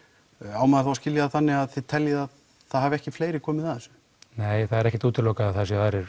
á maður þá að skilja það þannig að þið teljið að það hafi ekki fleiri komið að þessu nei það er ekkert útilokað að það séu aðrir